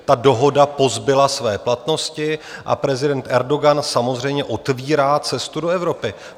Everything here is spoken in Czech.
Ta dohoda pozbyla své platnosti a prezident Erdogan samozřejmě otvírá cestu do Evropy.